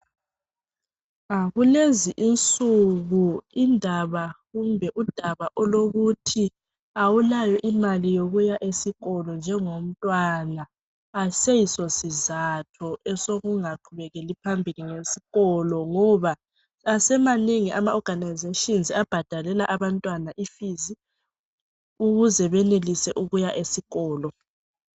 Kulezi insuku indaba kumbe udaba olokuthi awulayo imali yokuya esikolo njengomntwana ayiseyiso sizatho esokungaqhubekeli phambili ngesikolo ngoba asemanengi ama organisation abhadalela abantwana ifees ukuze benelise ukuya esikolo.